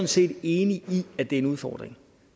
set enig i at det er en udfordring